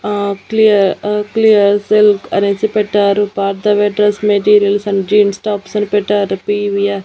ఆ క్లియర్ ఆ clear silk అనేసి పెట్టారు పాత మెటీరియల్స్ అండ్ జీన్స్ టాప్స్ అని పెట్టారు పి_వి_ఆర్ .